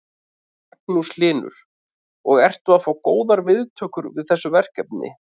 Magnús Hlynur: Og ertu að fá góðar viðtökur við þessu verkefni?